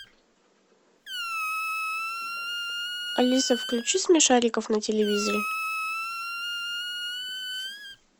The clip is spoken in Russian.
алиса включи смешариков на телевизоре